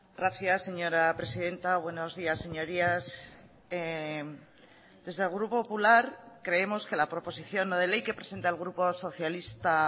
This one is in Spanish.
gracias señora presidenta buenos días señorías desde el grupo popular creemos que la proposición no de ley que presenta el grupo socialista